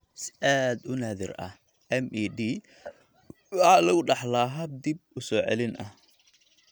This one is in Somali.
Si aad u naadir ah, MED waxa lagu dhaxlaa hab dib u soo celin ah.